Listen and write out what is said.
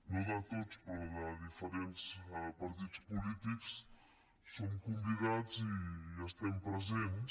no de tots però de diferents partits polítics som convidats i hi estem presents